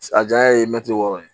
A janya ye mɛtiri wɔɔrɔ ye